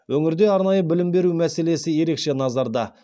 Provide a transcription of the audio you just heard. өңірде арнайы білім беру мәселесі ерекше назарда